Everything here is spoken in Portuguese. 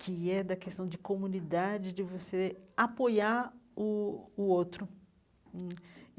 que é da questão de comunidade, de você apoiar o o outro hum.